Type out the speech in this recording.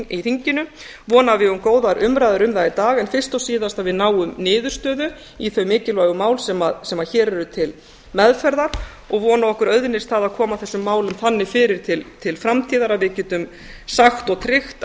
í þinginu vona að við eigum góðar umræður um það í dag en fyrst og síðast að við náum niðurstöðu í þau mikilvægu mál sem hér eru til meðferðar og vona að okkur auðnist að koma þessu máli þannig fyrir til framtíðar að við getum sagt og tryggt að